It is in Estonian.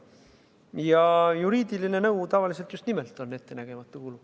Ja juriidiline nõu on tavaliselt just nimelt ettenägematu kulu.